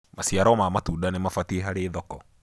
maciaro ma matunda nĩmabatie harĩ thoko